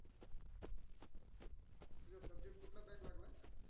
तुज subject कुटला?